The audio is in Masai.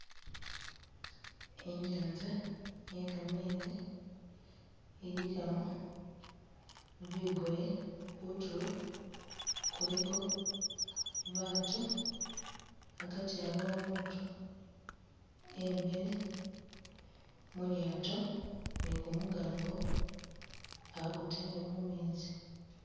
Inyanza iye kamezi ilikamo bigoye kutulo kuliko baatu agati aliwo umutu emile mulyato ne gumukango agutele mumezi